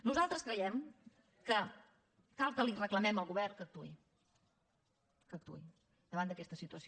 nosaltres creiem que cal que li reclamem al govern que actuï que actuï davant d’aquesta situació